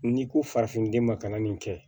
N'i ko farafinden ma kana nin kɛ